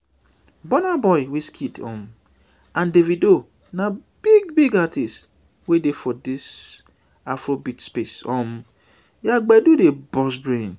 burnaboy wizkid um and davido na big big artiste wey dey for di afrobeat space um their gbedu dey burst brain